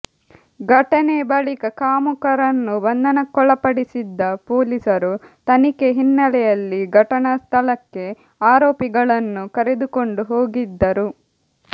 ಘಟನೆ ಬಳಿಕ ಕಾಮುಕರನ್ನು ಬಂಧನಕ್ಕೊಳಪಡಿಸಿದ್ದ ಪೊಲೀಸರು ತನಿಖೆ ಹಿನ್ನೆಲೆಯಲ್ಲಿ ಘಟನಾ ಸ್ಥಳಕ್ಕೆ ಆರೋಪಿಗಳನ್ನು ಕರೆದುಕೊಂಡು ಹೋಗಿದ್ದರು